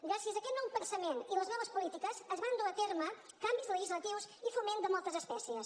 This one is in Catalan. gràcies a aquest nou pensament i a les noves polítiques es van dur a terme canvis legislatius i foment de moltes especies